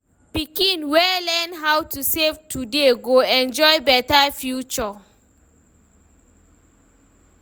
Pikin wey learn how to save today go enjoy beta future.